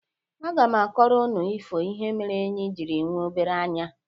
Aga m akọrọ ụnụ ifo ihe mere enyi jiri nwe obere anya.